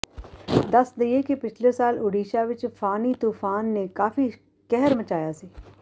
ਦੱਸ ਦਈਏ ਕਿ ਪਿਛਲੇ ਸਾਲ ਓਡੀਸ਼ਾ ਵਿਚ ਫਾਨੀ ਤੂਫਾਨ ਨੇ ਕਾਫੀ ਕਹਿਰ ਮਚਾਇਆ ਸੀ